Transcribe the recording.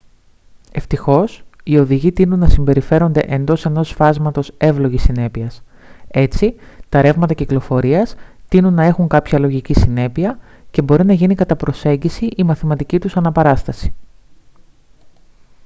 ευτυχώς οι οδηγοί τείνουν να συμπεριφέρονται εντός ενός φάσματος εύλογης συνέπειας· έτσι τα ρεύματα κυκλοφορίας τείνουν να έχουν κάποια λογική συνέπεια και μπορεί να γίνει κατά προσέγγιση η μαθηματική τους αναπαράσταση